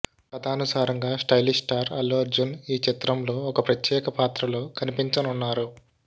కాథానుసారంగా stylish star Allu Arjun ఈ చిత్రంలో ఒక ప్రత్యేక పాత్రలో కనిపించనున్నారు